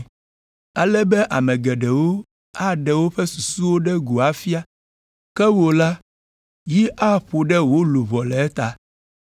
ale be ame geɖewo aɖe woƒe susuwo ɖe go afia, ke wò la, yi aƒo ɖe wò luʋɔ le eta.”